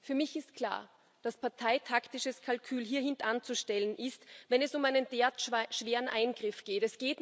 Für mich ist klar, dass parteitaktisches Kalkül hintanzustellen ist, wenn es um einen derart schweren Eingriff geht.